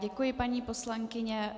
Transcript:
Děkuji, paní poslankyně.